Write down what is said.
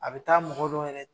A be taa mɔgɔ dɔ yɛrɛ